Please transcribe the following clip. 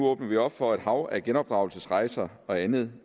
åbner op for et hav af et genopdragelsesrejser og andet